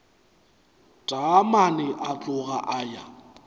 taamane a tloga a ya